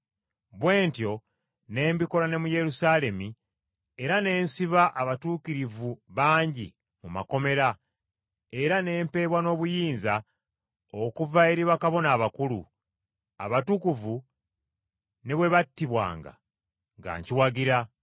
Bwe ntyo ne mbikola ne mu Yerusaalemi era ne nsiba abatuukirivu bangi mu makomera, era ne mpeebwa n’obuyinza okuva eri bakabona abakulu; abatukuvu ne bwe battibwanga, nga nkiwagira.